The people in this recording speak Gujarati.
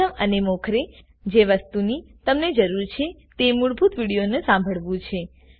પ્રથમ અને મોખરે જે વસ્તુની તમને જરૂર છે તે મૂળ વિડીઓને સાંભળવું છે